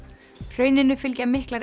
hrauninu fylgja miklar